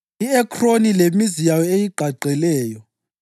I-Ekroni, lemizana eyigqagqeleyo;